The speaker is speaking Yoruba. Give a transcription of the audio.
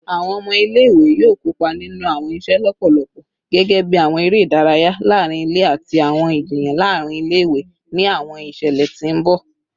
Awọn ọmọ ile-iwe yoo kopa ninu awọn iṣẹ lọpọlọpọ gẹgẹbi awọn ere idaraya laarin ile ati awọn ijiyan laarin ile-iwe ni awọn iṣẹlẹ ti n bọ